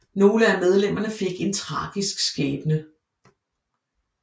Nogle af medlemerne fik en tragisk skæbne